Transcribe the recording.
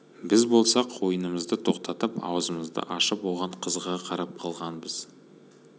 біз болсақ ойынымызды тоқтатып аузымызды ашып оған қызыға қарап қалғанбыз